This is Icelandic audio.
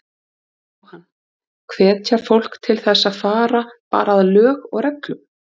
Jóhann: Hvetja fólk til þess að fara bara að lög og reglum?